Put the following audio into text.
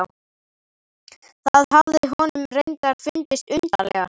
Það hafði honum reyndar fundist undarlegast.